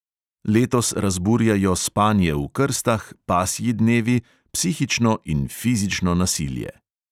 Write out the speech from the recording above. Letos razburjajo spanje v krstah, pasji dnevi, psihično in fizično nasilje.